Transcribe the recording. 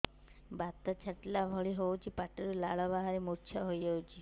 ବାତ ଛାଟିଲା ଭଳି ହଉଚି ପାଟିରୁ ଲାଳ ବାହାରି ମୁର୍ଚ୍ଛା ହେଇଯାଉଛି